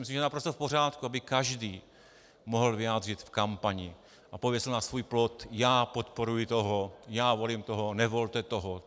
Myslím, že je naprosto v pořádku, aby každý mohl vyjádřit v kampani a pověsil na svůj plot "já podporuji toho, já volím toho, nevolte toho".